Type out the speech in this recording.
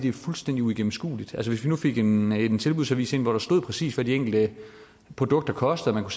er fuldstændig uigennemskueligt hvis vi nu fik en en tilbudsavis ind hvor der stod præcis hvad de enkelte produkter kostede og